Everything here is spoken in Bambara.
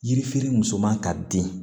Yirifɛri muso man ka den